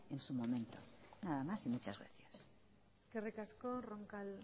en su momento nada más y muchas gracias eskerrik asko roncal